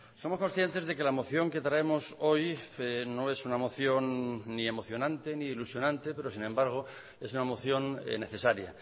somos conscientes de que la moción que traemos hoy no es una moción ni emocionante ni ilusionante pero sin embargo es una moción necesaria